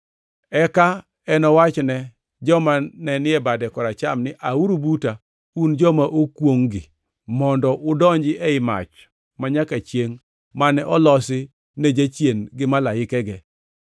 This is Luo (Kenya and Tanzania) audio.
“Eka enowachne joma ni e bade koracham ni, ‘Auru buta, un joma okwongʼ-gi, mondo udonji ei mach manyaka chiengʼ mane olosi ne Jachien gi malaikege.